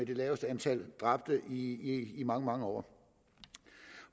det laveste antal dræbte i trafikken i mange mange år